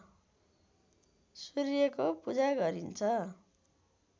सूर्यको पूजा गरिन्छ